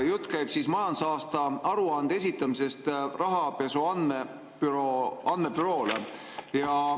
Jutt käib majandusaasta aruande esitamisest Rahapesu Andmebüroole.